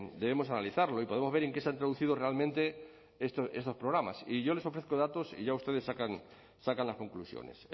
debemos analizarlo y podemos ver en qué se han traducido realmente estos programas y yo les ofrezco datos y ya ustedes sacan las conclusiones